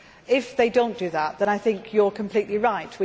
If they do not do that, then I think you are completely right.